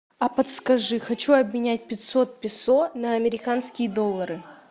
а подскажи хочу обменять пятьсот песо на американские доллары